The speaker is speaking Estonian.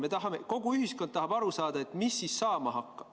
Me tahame, kogu ühiskond tahab aru saada, mis siis saama hakkab.